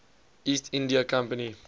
east india company